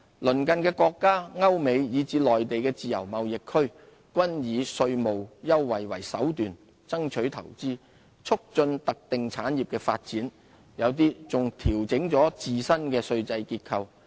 鄰近的國家、歐美、以至內地的自由貿易區均以稅務優惠為手段，爭取投資，促進特定產業的發展，有些還調整了自身的稅制結構。